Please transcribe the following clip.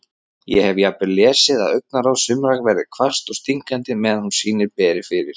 Ég hef jafnvel lesið að augnaráð sumra verði hvasst og stingandi meðan sýnir beri fyrir.